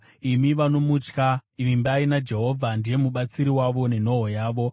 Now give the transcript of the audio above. Imi vanomutya, vimbai naJehovha, ndiye mubatsiri wavo nenhoo yavo.